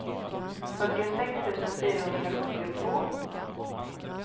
fyrtiosex tusen fyrahundrasjuttiotvå